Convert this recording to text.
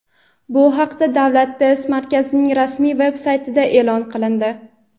Bu haqda Davlat test markazining rasmiy veb-saytida e’lon qilindi.